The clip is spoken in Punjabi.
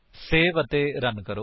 ਸੇਵ ਅਤੇ ਰਨ ਕਰੋ